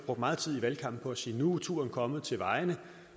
brugt meget tid i valgkampen på at sige at nu er turen kommet til vejene